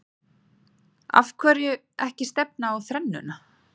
Af hverju ekki stefna á þrennuna?